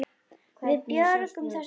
Við björgum þessu nú.